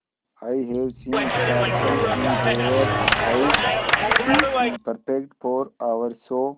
I have seen sparkle in her eyes she is perfect for our show